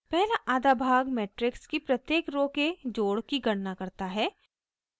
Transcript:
पहला आधा भाग मेट्रिक्स की प्रत्येक रो के जोड़ की गणना करता है